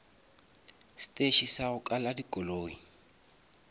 steše sa go kala dikoloi